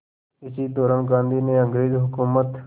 इसी दौरान गांधी ने अंग्रेज़ हुकूमत